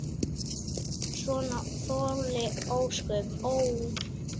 Svona þoli ósköp, ó!